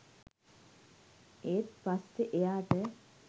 ඒත් පස්සෙ එයාට